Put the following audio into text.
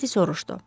Makkinte soruşdu.